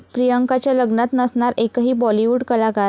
प्रियंकाच्या लग्नात नसणार एकही बॉलिवूड कलाकार